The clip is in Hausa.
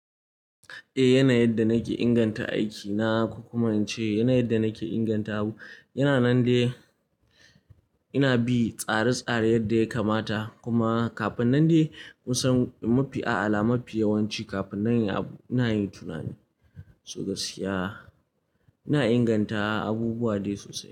Eh yanayin yadda nake inganta aikina ko kuma in ce yanayin yadda nake inganta abu. Yana nan dai ina bi tsare-tsare yadda ya kamata kuma kafin nan dai kun san mafi ala, mafi yawanci kafin na yi abu ina yin tunani. So gaskiya ina inganta abubuwa dai sosai.